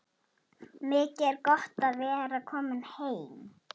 Mikið er gott að vera komin heim!